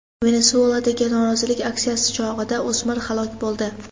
Venesueladagi norozilik aksiyasi chog‘ida o‘smir halok bo‘ldi.